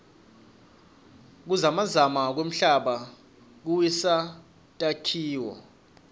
kuzamazama kwemhlaba kuwisa takhiloo